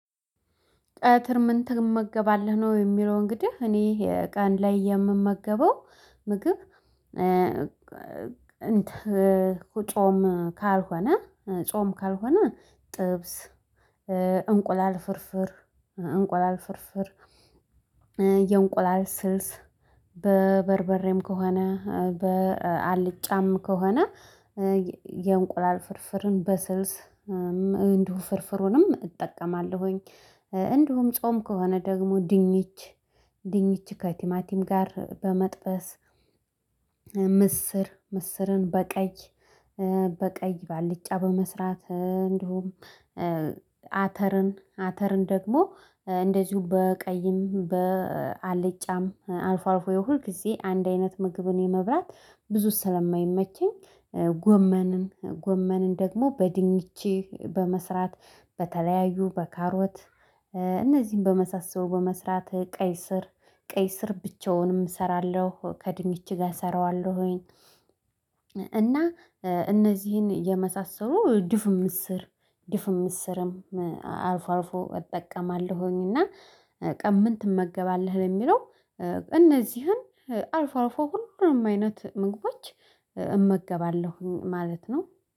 ቀተር ምን ትመገባለህ ነው የሚለው? እንግዲህ እኔ ቀን ላይ የምመገበው ምግብ እንትን ጾም ካልሆነ ጾም ካልሆነ ጥብስ እንቁላል ፍርፍር እንቁላል ፍርፍር የእንቁላል ስልስ በበርበሬም ከሆነ በአልጫም ከሆነ የእንቁላል ፍርፍርን በስልስ እንዲሁ ፍርፍሩንም እጠቀማለሁኝ። እንዲሁም ጾም ከሆነ ደግሞ ድንች ድንች ከቲማቲም ጋር በመጥበስ ምስር ምስርን በቀይ በቀይ በአልጫ በመስራት እንደሁም አተርን ደግሞ እንደዚሁ በቀይም በአልጫም አልፎ አልፎ ሁል ጊዜ አንድ አይነት ምግብን የመብላት ብዙ ስለማይመቸኝ። ጎመንን ጎመንን ደግሞ በድንች በመስራት በተለያዩ በካሮት እነዚህን በመሳሰሉ በመስራት ቀይስር ቀይስር ብቻውንም እሰራለሁ ከድንች ጋር እሰራዋለሁኝ። እና እነዚህን የመሳሰሉ ድፍን ምስር ድፍን ምስርም አልፎ አልፎ እጠቀማለሁኝና። ቀን ምን ትመገባለህ? ለሚለው እነዚህን አልፎ አልፎ ሁሉንም አይነት ምግቦች እመገባለሁ ማለት ነው